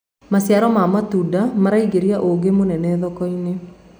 maciaro ma matunda maraingiria ugii munene thoko-inĩ